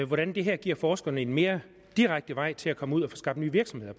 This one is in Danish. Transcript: hvordan det her giver forskerne en mere direkte vej til at komme ud og få skabt nye virksomheder